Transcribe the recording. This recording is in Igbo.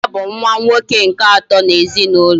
Nna ya bu nwa nwoke nke ato na ezinaulo